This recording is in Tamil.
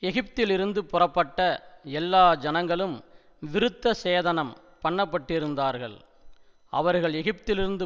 எகிப்திலிருந்து புறப்பட்ட எல்லா ஜனங்களும் விருத்தசேதனம் பண்ணப்பட்டிருந்தார்கள் அவர்கள் எகிப்திலிருந்து